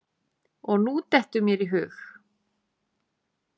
Og nú dettur mér í hug.